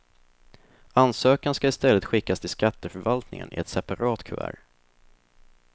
Ansökan ska i stället skickas till skatteförvaltningen i ett separat kuvert.